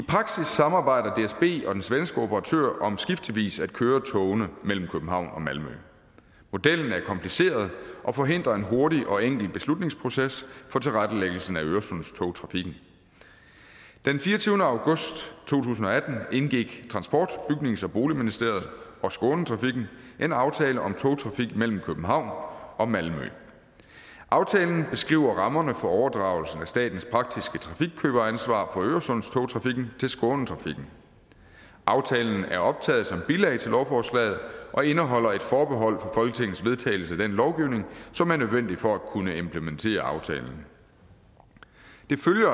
samarbejder dsb og den svenske operatør om skiftevis at køre togene mellem københavn og malmø modellen er kompliceret og forhindrer en hurtig og enkel beslutningsproces for tilrettelæggelsen af øresundstogtrafikken den fireogtyvende august to tusind og atten indgik transport bygnings og boligministeriet og skånetrafikken en aftale om togtrafik mellem københavn og malmø aftalen beskriver rammerne for overdragelsen af statens praktiske trafikkøberansvar for øresundstogtrafikken til skånetrafikken aftalen er optaget som bilag til lovforslaget og indeholder et forbehold for folketingets vedtagelse af den lovgivning som er nødvendig for at kunne implementere aftalen følger